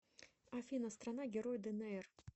афина страна герой днр